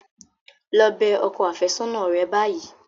Lọ bẹ ọkọ àfẹ́sọ́nà rẹ báyìí.